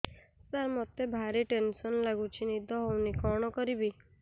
ସାର ମତେ ଭାରି ଟେନ୍ସନ୍ ଲାଗୁଚି ନିଦ ହଉନି କଣ କରିବି